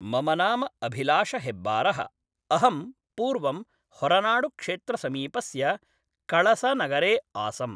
मम नाम अभिलाषहेब्बारः अहं पूर्वं होरनाडुक्षेत्रसमीपस्य कळसनगरे आसम्